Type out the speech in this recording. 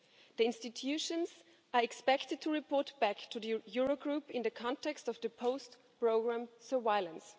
The institutions are expected to report back to the Eurogroup in the context of the post-programme surveillance.